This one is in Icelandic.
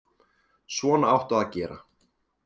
Svona áttu að gera.